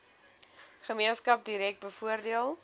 gemeenskap direk bevoordeel